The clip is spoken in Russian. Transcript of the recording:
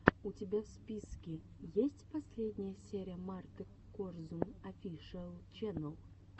у тебя в списке есть последняя серия марты корзун офишиал ченнал